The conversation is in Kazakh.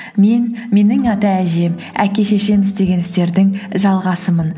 мен менің ата әжем әке шешем істеген істердің жалғасымын